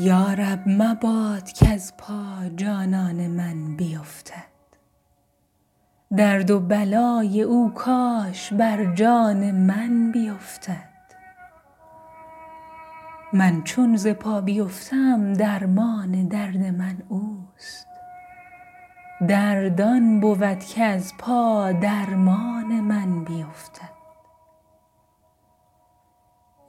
یا رب مباد کز پا جانان من بیفتد درد و بلای او کاش بر جان من بیفتد من چون ز پا بیفتم درمان درد من اوست درد آن بود که از پا درمان من بیفتد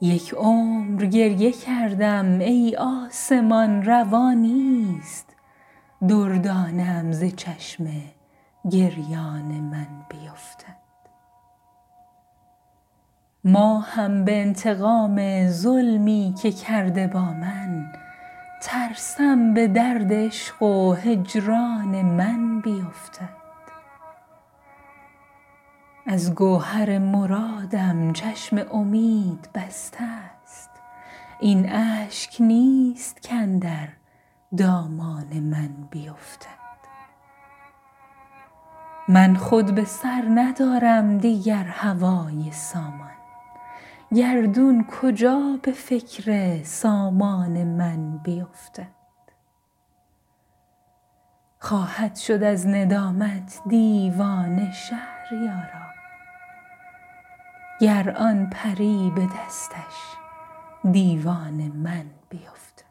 چشمم به چشمش افتاد اما نبود چشمی کز برق آن شرر در ارکان من بیفتد یک عمر گریه کردم ای آسمان روا نیست دردانه ام ز چشم گریان من بیفتد ماهم به انتقام ظلمی که کرده با من ترسم به درد عشق و هجران من بیفتد دور فلک فکنده در چاهم و عجب نیست ماهش به دور آه و فغان من بیفتد از گوهر مرادم چشم امید بسته است این اشک نیست کاندر دامان من بیفتد من خود به سر ندارم دیگر هوای سامان گردون کجا به فکر سامان من بیفتد دست خیال یازد شب در کمند مهتاب رستم اگر به چاه زندان من بیفتد خواهد شد از ندامت دیوانه شهریارا گر آن پری به دستش دیوان من بیفتد